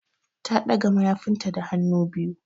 Ta ɗaga mayafinta da hannu biyu.